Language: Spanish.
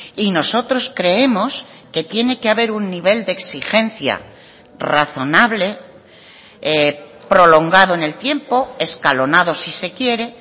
y nosotros creemos que tiene que haber un nivel de exigencia razonable prolongado en el tiempo escalonado si se quiere